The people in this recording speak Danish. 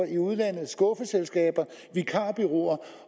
i udlandet skuffeselskaber vikarbureauer